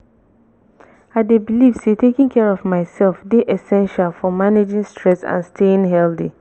i dey believe say taking care of myself dey essential for managing stress and staying healthy.